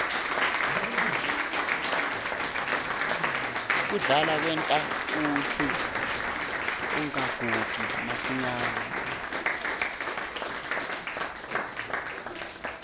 kudlala kwenta kutsi ungagugi masinyane